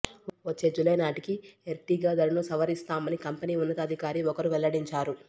వచ్చే జులై నాటికి ఎర్టిగా ధరను సవరిస్తామని కంపెనీ ఉన్నతాధికారి ఒకరు వెల్లడించారు